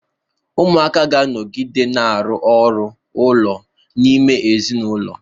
Ụmụaka ga-anọgide na-arụ ọrụ ụlọ n'ime ezinụlọ.